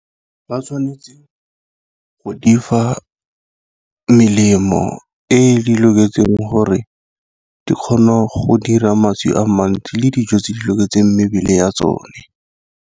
Ba tshwanetse go difa melemo e di loketseng gore di kgona go dira mašwi a mantsi, le dijo tse di loketseng mebele ya tsone.